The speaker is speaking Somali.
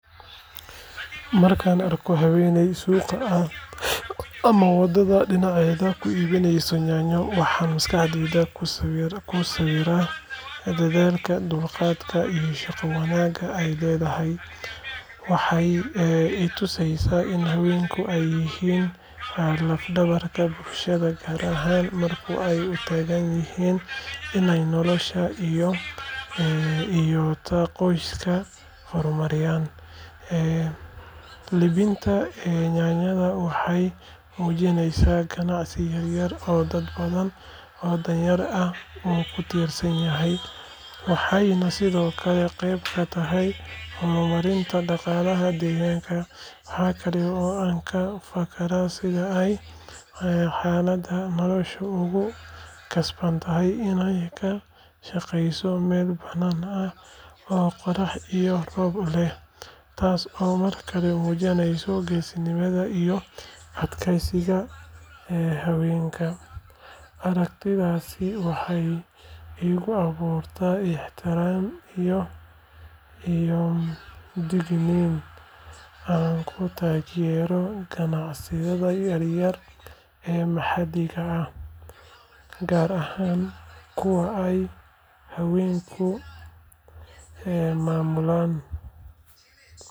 Markaan arko haweeney suuqa ama waddada dhinaceeda ku iibinaysa yaanyo, waxaan maskaxdayda ku sawiraa dadaalka, dulqaadka iyo shaqo wanaagga ay leedahay. Waxay i tusaysaa in haweenku ay yihiin laf dhabarta bulshada gaar ahaan marka ay u taagan yihiin inay noloshooda iyo ta qoysaskooda horumariyaan. Iibinta yaanyada waxay muujinaysaa ganacsi yaryar oo dad badan oo danyar ah uu ku tiirsan yahay, waxayna sidoo kale qeyb ka tahay horumarinta dhaqaalaha deegaanka. Waxaa kale oo aan ka fakaraa sida ay xaaladda noloshu ugu khasabtay inay ka shaqayso meel bannaanka ah oo qorrax iyo roobba leh, taasoo markale muujinaysa geesinimada iyo adkaysiga haweenka. Aragtidaas waxay igu abuurtaa ixtiraam iyo dhiirrigelin aan ku taageero ganacsiyada yaryar ee maxalliga ah, gaar ahaan kuwa ay haweenku maamulaan.